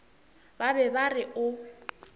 ba be ba re o